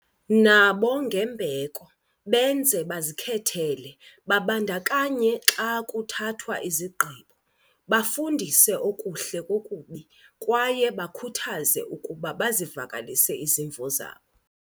nabo ngembeko, benze bazikhethele, babandakanye xa kuthathwa izigqibo, bafundise okuhle kokubi, kwaye bakhuthaze ukuba bazivakalise izimvo zabo.